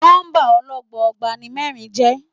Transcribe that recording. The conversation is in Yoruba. Nọ́mbà ọlọ́gbọọgba ni mẹ́rin jẹ́.